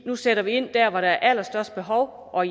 nu sætter ind der hvor der er det allerstørste behov og